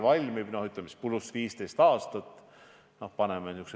Ja kui te seda teete, siis ehk saate mõne näite tuua.